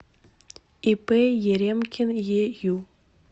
ип еремкин ею